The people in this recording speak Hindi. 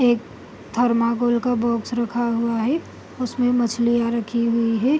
एक थर्माकौल का बॉक्स रखा हुआ है उसमें मछलियाँ रखी हुई है।